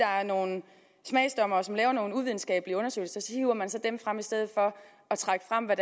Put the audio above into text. er nogle smagsdommere som laver nogle uvidenskabelige undersøgelser hiver man så dem frem i stedet for at trække frem hvad